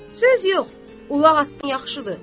Söz yox, ulaq atdan yaxşıdır.